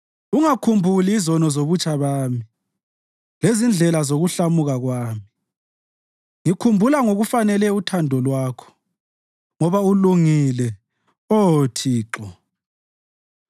Ungakhumbuli izono zobutsha bami lezindlela zokuhlamuka kwami; ngikhumbula ngokufanele uthando Lwakho, ngoba ulungile, Oh Thixo.